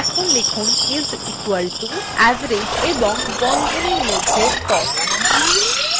এখন লিখুন is equal to এবং average এবং বন্ধনীর মধ্যে cost